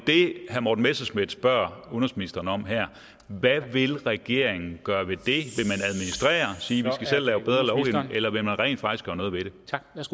herre morten messerschmidt spørger udenrigsministeren om her hvad vil regeringen gøre ved det og sige at eller vil man rent faktisk gøre noget ved